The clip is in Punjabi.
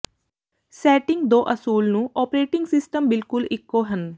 ਸੈਟਿੰਗ ਦੋ ਅਸੂਲ ਨੂੰ ਓਪਰੇਟਿੰਗ ਸਿਸਟਮ ਬਿਲਕੁਲ ਇੱਕੋ ਹਨ